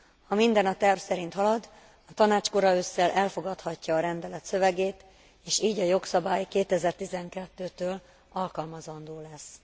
Ha minden a terv szerint halad, a Tanács kora ősszel elfogadhatja a rendelet szövegét, és így a jogszabály 2012 től alkalmazandó lesz.